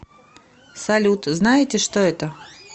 салют знаете что это